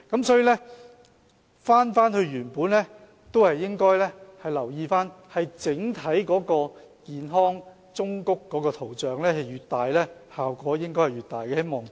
所以，返回原本的建議，我們應該留意整個健康忠告圖像越大，效果應該越大。